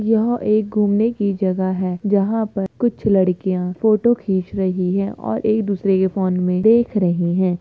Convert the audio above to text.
यह एक घूमने की जगह है जहाँ पर कुछ लड़कियाँ फोटो खींच रही है और एक दूसरे के फ़ोन में देख रही है।